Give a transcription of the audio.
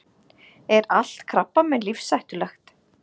Er allt krabbamein lífshættulegt?